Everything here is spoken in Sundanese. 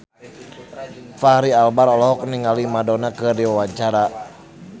Fachri Albar olohok ningali Madonna keur diwawancara